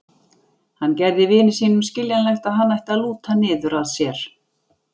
Hann gerði vini sínum skiljanlegt að hann ætti að lúta niður að sér.